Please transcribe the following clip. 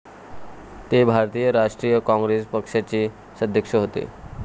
ते भारतीय राष्ट्रीय काँग्रेस पक्षाचे सदस्य होते.